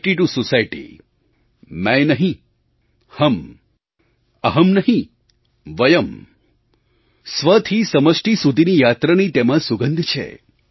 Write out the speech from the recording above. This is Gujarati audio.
ઇટ ટીઓ સોસાયટી મૈં નહીં હમ અહમ્ નહીં વયમ્ સ્વથી સમષ્ટિ સુધીની યાત્રાની તેમાં સુગંધ છે